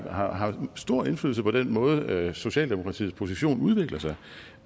stor indflydelse på den måde socialdemokratiets position udvikler sig